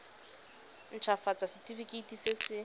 nt hafatsa setefikeiti se se